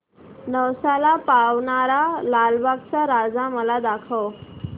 नवसाला पावणारा लालबागचा राजा मला दाखव